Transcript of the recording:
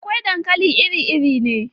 Akwai dankali iri-iri ne.